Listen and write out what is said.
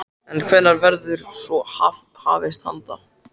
En hvenær verður svo hafist handa?